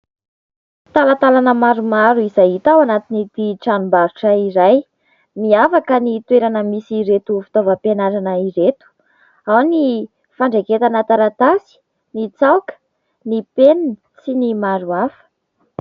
Talatalana maromaro izay hita ao anatin'ny ity tranom-barotra iray. Miavaka ny toerana misy ireto fitaovam-pianarana ireto, ao ny fandraiketana taratasy, ny tsaoka, ny penina sy ny maro hafa.